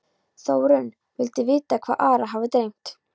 Þórunn vildi vita hvað Ara hefði dreymt.